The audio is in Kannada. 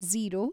ಝೀರೋ